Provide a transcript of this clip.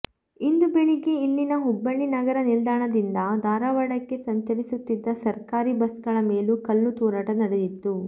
ಇಂದು ಬೆಳಗ್ಗೆ ಇಲ್ಲಿನ ಹುಬ್ಬಳ್ಳಿ ನಗರ ನಿಲ್ದಾಣದಿಂದ ಧಾರವಾಡಕ್ಕೆ ಸಂಚರಿಸುತ್ತಿದ್ದ ಸರ್ಕಾರಿ ಬಸ್ ಗಳ ಮೇಲೂ ಕಲ್ಲು ತೂರಾಟ ನಡೆದಿತ್ತು